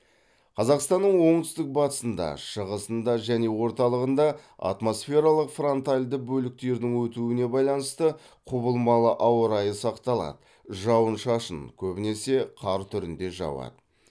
қазақстаның оңтүстік батысында шығысында және орталығында атмосфералық фронтальды бөліктердің өтуіне байланысты құбылмалы ауа райы сақталады жауын шашын көбінесе қар түрінде жауады